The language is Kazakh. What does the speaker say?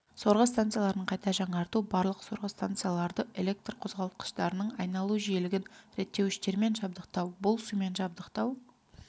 сорғы станцияларын қайта жаңарту барлық сорғы станцияларды электр қозғалтқыштарының айналу жиілігін реттеуіштермен жабдықтау бұл сумен жабдықтау